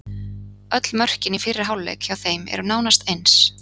Öll mörkin í fyrri hálfleik hjá þeim eru nánast eins.